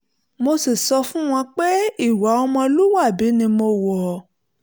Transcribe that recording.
mo sì sọ fún wọn pé ìwà ọmọlúwàbí ni mo wọ̀ ọ́